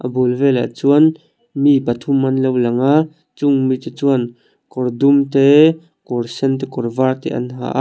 bul velah chuan mi pathum an lo lang a chung mite chuan kawr dum te kawr sen te kawr var te an ha a.